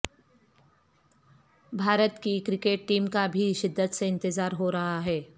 بھارت کی cricket team کا بھی شدت سے انتظار ہو رہا ہے